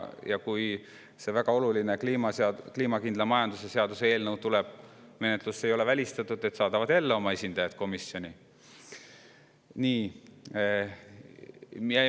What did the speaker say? Ja kui see väga oluline kliimakindla majanduse seaduse eelnõu tuleb menetlusse, siis ei ole välistatud, et nad saadavad jälle oma esindajad komisjoni.